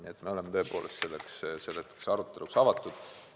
Nii et me oleme tõepoolest selleks aruteluks avatud.